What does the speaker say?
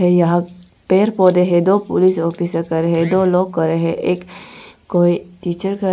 यहां पेड़ पौधे हैं दो पुलिस ऑफिसर खड़े हैं दो लोग खड़े हैं एक कोई टीचर खड़ा--